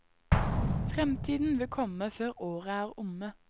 Fremtiden vil komme før året er omme.